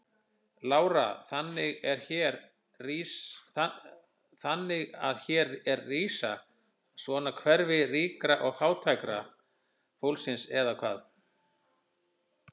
Lára: Þannig að hér er rísa svona hverfi ríka og fræga fólksins eða hvað?